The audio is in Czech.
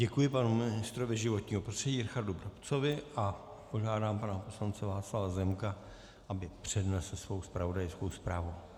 Děkuji panu ministrovi životního prostředí Richardu Brabcovi a požádám pana poslance Václava Zemka, aby přednesl svou zpravodajskou zprávu.